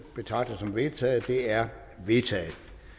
betragter som vedtaget det er vedtaget